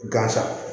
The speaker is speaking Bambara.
Gan sa